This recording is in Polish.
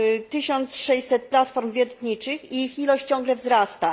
1600 platform wiertniczych i ich ilość ciągle wzrasta.